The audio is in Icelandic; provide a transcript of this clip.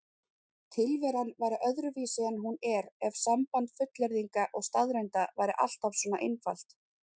Tilveran væri öðruvísi en hún er ef samband fullyrðinga og staðreynda væri alltaf svona einfalt.